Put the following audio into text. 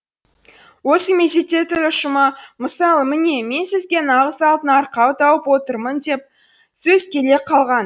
осы мезетте тіл ұшыма мысалы міне мен сізге нағыз алтын арқау тауып отырмын деген сөз келе қалған